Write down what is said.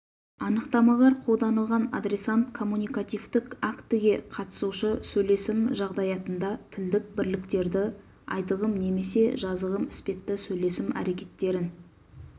анықтамалар қолданылған адресант коммуникативтік актіге қатысушы сөйлесім жағдаятында тілдік бірліктерді айтылым немесе жазылым іспетті сөйлесім әрекеттерін